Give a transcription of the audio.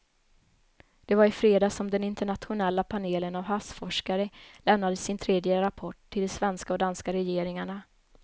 Det var i fredags som den internationella panelen av havsforskare lämnade sin tredje rapport till de svenska och danska regeringarna.